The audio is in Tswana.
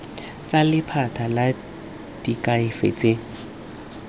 tsa lephata la diakhaefe tsa